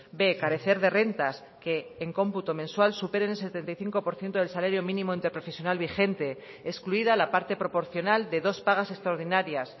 b carecer de rentas que en cómputo mensual superen el setenta y cinco por ciento del salario mínimo interprofesional vigente excluida la parte proporcional de dos pagas extraordinarias